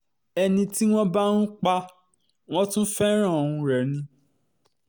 ẹni tí wọ́n bá um pa wọ́n tún fẹ́ràn um rẹ̀ ni